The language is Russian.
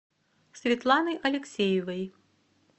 светланы алексеевой